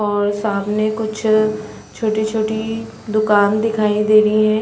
और सामने कुछ छोटे-छोटे दुकान दिखाई दे रही है।